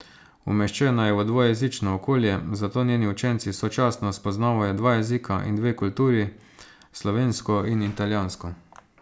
Umeščena je v dvojezično okolje, zato njeni učenci sočasno spoznavajo dva jezika in dve kulturi, slovensko in italijansko.